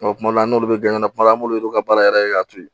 kuma dɔw la n'olu bɛ kuma dɔ la an b'olu ka baara yɛrɛ kɛ k'a to yen